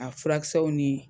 A furakisɛw ni